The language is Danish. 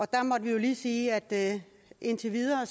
der måtte vi jo lige sige at det indtil videre